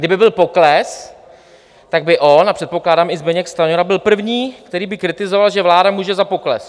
Kdyby byl pokles, tak by on, a předpokládám i Zbyněk Stanjura, byl první, který by kritizoval, že vláda může za pokles.